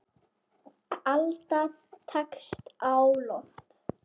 Alda tekst á loft.